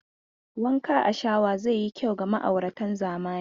Wanka a shawa zai yi kyau ga ma'auratan zamani.